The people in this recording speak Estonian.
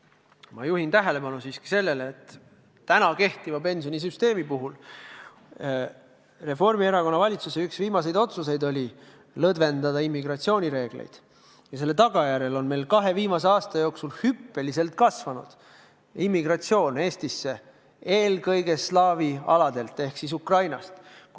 Ent ma juhin tähelepanu siiski sellele, et tänase pensionisüsteemi puhul oli Reformierakonna valitsuse üks viimaseid otsuseid lõdvendada immigratsioonireegleid ja selle tagajärjel on meil kahe viimase aasta jooksul immigratsioon hüppeliselt kasvanud, eelkõige slaavi aladelt ehk siis Ukrainast.